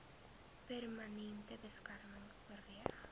permanente beskerming oorweeg